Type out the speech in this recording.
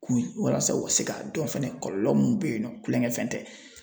K'u walasa u ka se ka dɔn fɛnɛ kɔlɔlɔ mun be yen nɔ kulonkɛ fɛn tɛ